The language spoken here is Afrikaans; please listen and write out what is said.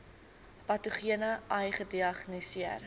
patogene ai gediagnoseer